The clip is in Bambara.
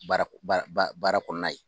Baara baara kɔnɔna ye